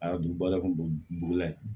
A y'a don bala kun burula yen